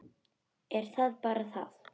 Er það bara það?